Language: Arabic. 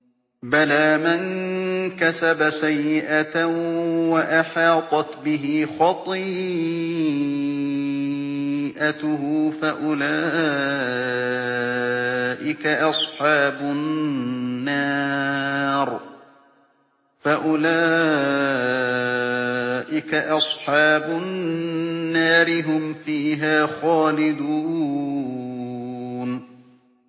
بَلَىٰ مَن كَسَبَ سَيِّئَةً وَأَحَاطَتْ بِهِ خَطِيئَتُهُ فَأُولَٰئِكَ أَصْحَابُ النَّارِ ۖ هُمْ فِيهَا خَالِدُونَ